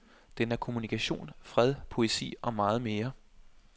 Den er kommunikation, fred, poesi og meget mere.